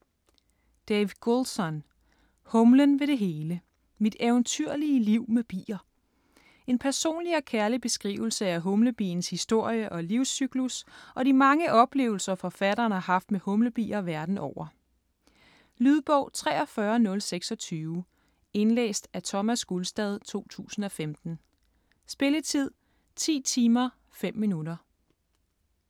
Goulson, Dave: Humlen ved det hele: mit eventyrlige liv med bier En personlig og kærlig beskrivelse af humlebiens historie og livscyklus og de mange oplevelser, forfatteren har haft med humlebier verden over. Lydbog 43026 Indlæst af Thomas Gulstad, 2015. Spilletid: 10 timer, 5 minutter.